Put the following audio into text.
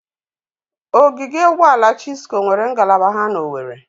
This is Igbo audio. Ogige Ụgbọala Chisco nweere ngalaba ha n'Owere.